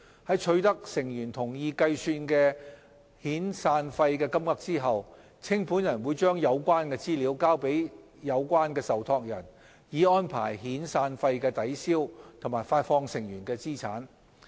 在取得成員同意計算的遣散費金額後，清盤人會將有關資料交給有關受託人，以安排遣散費的抵銷和發放成員的資產。